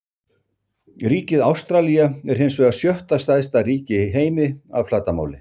Ríkið Ástralía er hins vegar sjötta stærsta ríki í heimi að flatarmáli.